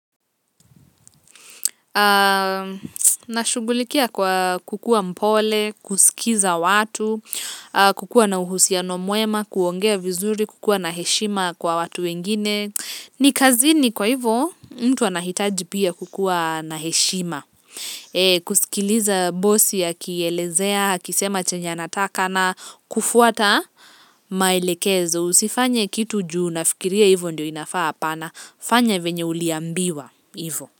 Nashughulikia kwa kukuwa mpole, kusikiza watu, kukuwa na uhusiano mwema, kuongea vizuri, kukuwa na heshima kwa watu wengine. Ni kazini kwa hivo, mtu anahitaji pia kukuwa na heshima. Kusikiliza bosi akielezea, akisema chenye anataka na kufuata, maelekezo. Usifanye kitu ju unafikiria hivo ndio inafaa hapana, fanya venye uliambiwa hivo.